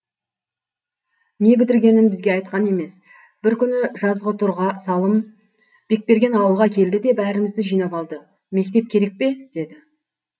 не бітіргенін бізге айтқан емес бір күні жазғытұрға салым бекберген ауылға келді де бәрімізді жинап алды мектеп керек пе деді